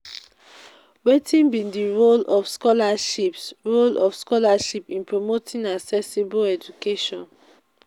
wetin be di role of scholarships role of scholarships in promoting accessible education?